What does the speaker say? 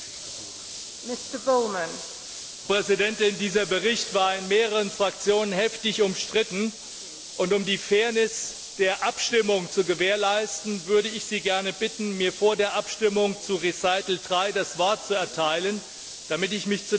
Frau Präsidentin! Dieser Bericht war in mehreren Fraktionen heftig umstritten und, um die Fairness der Abstimmung zu gewährleisten, würde ich Sie gerne bitten, mir vor der Abstimmung über Erwägung 3 das Wort zu erteilen, damit ich mich zu der Reihenfolge der Abstimmungen äußern kann.